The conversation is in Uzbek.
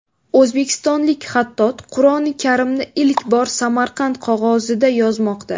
O‘zbekistonlik xattot Qur’oni Karimni ilk bor Samarqand qog‘ozida yozmoqda.